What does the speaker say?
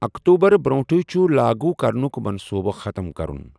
اکتوبر برٛونٛٹھٕی چھُ لَاگوٗ کرنُک منصوٗبہٕ ختٕم کرُن۔